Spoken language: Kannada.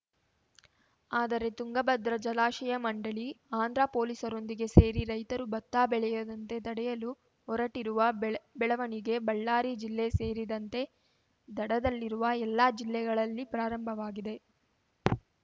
ಆದರೆ ತುಂಗಭದ್ರಾ ಜಲಾಶಯ ಮಂಡಳಿ ಆಂಧ್ರ ಪೊಲೀಸರೊಂದಿಗೆ ಸೇರಿ ರೈತರು ಭತ್ತ ಬೆಳೆಯದಂತೆ ತಡೆಯಲು ಹೊರಟಿರುವ ಬೆಳ ಬೆಳವಣಿಗೆ ಬಳ್ಳಾರಿ ಜಿಲ್ಲೆ ಸೇರಿದಂತೆ ದಡದಲ್ಲಿವ ಎಲ್ಲಾ ಜಿಲ್ಲೆಗಳಲ್ಲಿ ಪ್ರಾರಂಭವಾಗಿದೆ